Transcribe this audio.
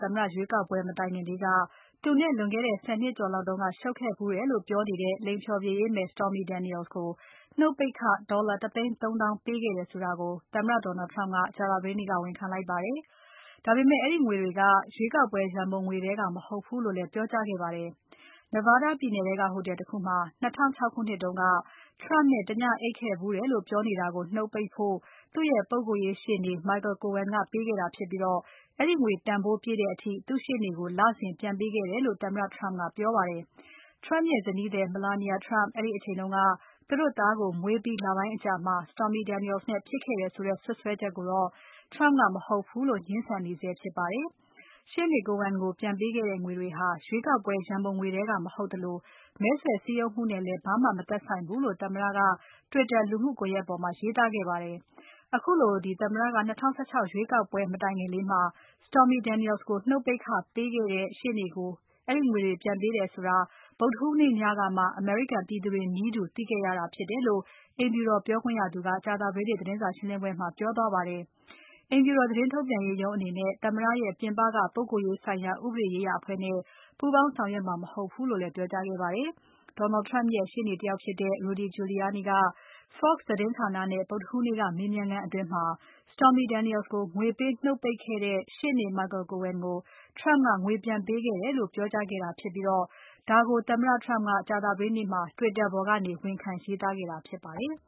သမ္မတ ရွေးကောက်ပွဲမတိုင်ခင်လေးက သူနဲ့လွန်ခဲ့တဲ့ ၁၀ နှစ်ကျော်လောက်တုန်းက ရှုပ်ခဲ့ဖူးတယ်လို့ပြောနေတဲ့ လိင်ဖျော်ဖြေရေးသရုပ်ဆောင် Stormy Daniels ကို နှုတ်ပိတ်ခ ၁ သိန်း ၃ သောင်းပေးခဲ့တယ်ဆိုတာကို သမ္မတ Donald Trump ကကြာသပတေးနေ့က ဝန်ခံလိုက်ပါတယ်။ ဒါပေမဲ့ အဲဒီငွေတွေက ရွေးကောက်ပွဲ ရန်ပုံငွေထဲမဟုတ်ဘူးလို့လည်း ပြောကြားခဲ့ပါတယ်။ Nevada ပြည်နယ်ထဲက ဟိုတယ်တခုမှာ ၂၀၀၆ ခုနှစ်တုန်းက Trump နဲ့ တညအိပ်ခဲ့ဖူးတယ်လို့ ပြောနေတာကို နှုတ်ပိတ်ဖို့ သူ့ရဲ့ပုဂ္ဂိုလ်ရေး ရှေ့နေ Michael Cohen ကပေးခဲ့တာဖြစ်ပြီး အဲဒီငွေတန်ဖိုးပြည့်တဲ့အထိ သူ့ရှေ့နေကို လစဉ်ပြန်ပေးခဲ့တယ်လို့ သမ္မတ Trump ကပြောပါတယ်။ Trump ရဲ့ဇနီးသည် Melania Trump အဲဒီအချိန်က သူတို့သားကို မွေးပြီး လပိုင်းအကြာမှာ Stormy Daniels နဲ့ဖြစ်ခဲ့တယ်ဆိုတဲ့ စွပ်စွဲချက်ကိုတော့ Trump က မဟုတ်ဘူးလို့ ငြင်းဆန်နေဆဲဖြစ်ပါတယ်။ ရှေ့နေ Cohen ကို ပြန်ပေးခဲ့တဲ့ငွေတွေဟာ ရွေးကောက်ပွဲရန်ပုံငွေထဲက မဟုတ်သလို မဲဆွယ်စည်းရုံးမှုနဲ့လည်း ဘာမှ မသက်ဆိုင်ဘူးလို့ သမ္မတက Twitter လူမှုကွန်ယက်ပေါ်မှာ ရေးသားခဲ့ပါတယ်။ ခုလို သမ္မတက ၂၀၁၆ ရွေးကောက်ပွဲ မတိုင်ခင်လေးမှာ Stormy Daniels ကို နှုတ်ပိတ်ခပေးခဲ့တဲ့ သူ့ရှေ့နေကို သမ္မတက အဲဒီငွေတွေ ပြန်ပေးခဲ့တယ်ဆိုတာကို ဗုဒ္ဓဟူးနေ့ညကမှ အမေရိကန်ပြည်သူတွေနည်းတူ သူသိခဲ့ရတာဖြစ်တယ်လို့ အိမ်ဖြူတော်ပြောခွင့်ရသူက ကြာသပတေးနေ့ သတင်းစာရှင်းလင်းပွဲမှာ ပြောသွားပါတယ်။ အိမ်ဖြူတော် သတင်းထုတ်ပြန်ရေးရုံးအနေနဲ့ သမ္မတရဲ့ ပြင်ပက ပုဂ္ဂိုလ်ရေးဆိုင်ရာ ဥပဒေရေးရာအဖွဲ့နဲ့ ပူးပေါင်းဆောင်ရွက်မှာ မဟုတ်ဘူးလို့လည်း ပြောကြားခဲ့ပါတယ်။ Donald Trump ရဲ့ ရှေ့နေတယောက်ဖြစ်တဲ့ Rudy Giuliani က Fox သတင်းဌာနနဲ့ ဗုဒ္ဓဟူးနေ့က မေးမြန်းခန်းအတွင်း Stormy Daniels ကိုငွေပေးနှုတ်ပိတ်ခဲ့တဲ့ ရှေ့နေ Michael Cohen ကို Trump ကငွေပြန်ပေးတယ်လို့ ပြောကြားခဲ့တာဖြစ်ပြီး ဒါကို သမ္မတ Trump ကကြာသပတေးနေ့မှာ Twitter ပေါ်ကနေ ဝန်ခံရေးသားခဲ့တာဖြစ်ပါတယ်။